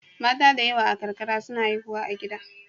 Mata da yawa a karkara suna haihuwa a gida.